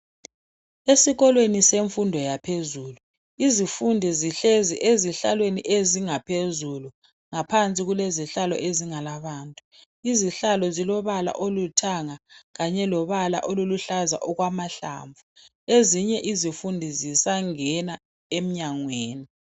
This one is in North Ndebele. Esikolweni semfundo yaphezulu izifundi zihlezi ezihlalweni ezingaphezulu, ngaphansi kulezihlalo ezingala bantu. Izihlalo zilobala oluthanga kanye lobala oluluhlaza okwamahlamvu , ezinye izifundi zisangena enyangweni.